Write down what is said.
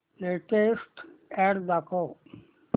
latest ad दाखव